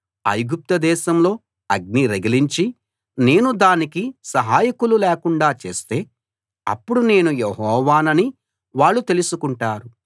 ఐగుప్తు దేశంలో అగ్ని రగిలించి నేను దానికి సహాయకులు లేకుండా చేస్తే అప్పుడు నేను యెహోవానని వాళ్ళు తెలుసుకుంటారు